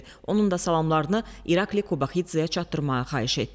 Onun da salamlarını İrakli Qobaxidzeyə çatdırmağa xahiş etdi.